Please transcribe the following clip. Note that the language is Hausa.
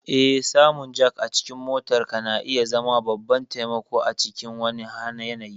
Eh, samun jack a cikin motarka na iya zama babban taimako a cikin wani yanayi.